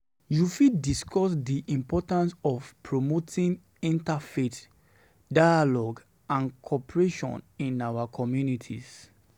You fit discuss di importance of promoting interfaith dialogue and cooperation in our communities.